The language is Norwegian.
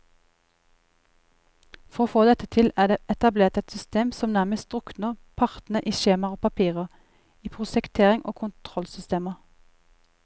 For å få til dette er det etablert et system som nærmest drukner partene i skjemaer og papirer, i prosjektering og kontrollsystemer.